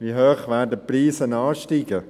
Wie hoch werden die Preise ansteigen?